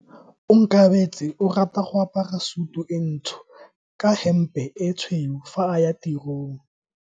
Onkabetse o rata go apara sutu e ntsho ka hempe e tshweu fa a ya tirong.